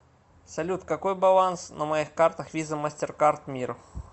салют какой баланс на моих картах виза мастеркард мир